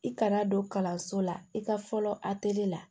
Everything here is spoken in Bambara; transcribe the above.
I kana don kalanso la i ka fɔlɔ la